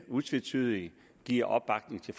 utvetydigt giver opbakning til